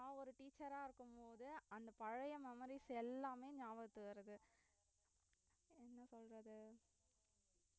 நான் ஒரு teacher அ இருக்கும் போது அந்த பழைய memories எல்லாமே நியாபகத்துக்கு வருது என்ன சொல்றது